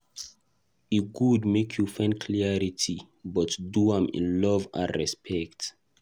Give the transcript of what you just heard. E good make you dey find clarity, but do am in love and respect.